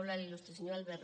molt honorable